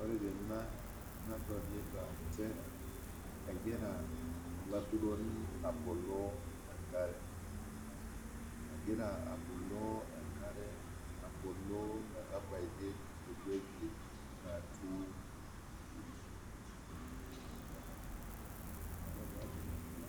Ore tena nadolita inchere egira olaituroni aboloo inkare, egira aboloo enkare, egira aboloo metabaki eweji natii, ore peetur ake